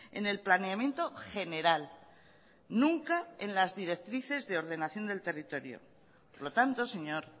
en el planeamiento general nunca en las directrices de ordenación del territorio por lo tanto señor